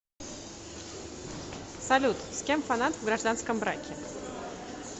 салют с кем фанат в гражданском браке